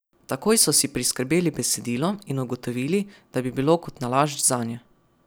Takoj so si priskrbeli besedilo in ugotovili, da bi bilo kot nalašč zanje.